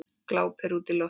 Glápir útí loftið.